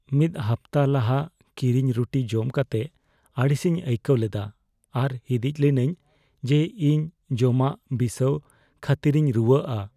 ᱢᱤᱫ ᱦᱟᱯᱛᱟ ᱞᱟᱦᱟ ᱠᱤᱨᱤᱧ ᱨᱩᱴᱤ ᱡᱚᱢ ᱠᱟᱛᱮ ᱟᱹᱲᱤᱥᱤᱧ ᱟᱹᱭᱠᱟᱹᱣ ᱞᱮᱫᱟ ᱟᱨ ᱦᱤᱸᱫᱤᱡ ᱞᱤᱱᱟᱹᱧ ᱡᱮ ᱤᱧ ᱡᱚᱢᱟᱜ ᱵᱤᱥᱟᱹᱣ ᱠᱷᱟᱹᱛᱤᱨᱤᱧ ᱨᱩᱣᱟᱹᱜᱼᱟ ᱾